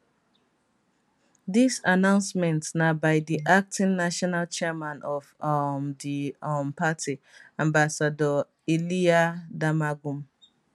dis announcement na by di acting national chairman of um di um party amb iliya damagum